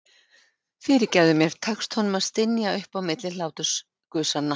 Fyrirgefðu mér, tekst honum að stynja upp á milli hlátursgusanna.